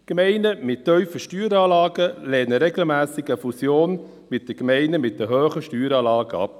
Gemeinden mit tiefen Steueranlagen lehnen eine Fusion mit Gemeinden mit hohen Steueranlagen regelmässig ab;